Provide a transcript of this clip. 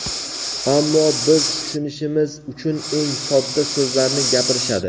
ammo biz tushunishimiz uchun eng sodda so‘zlarni gapirishadi.